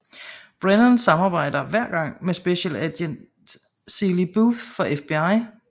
Brennan samarbejder hver gang med Specialagent Seeley Booth fra FBI